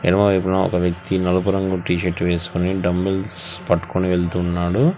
ఎడమ వైపున ఒక వ్యక్తి నలుపు రంగు టీ షర్ట్ వేసుకుని డంబిల్స్ పట్టుకొని వెళ్తున్నాడు.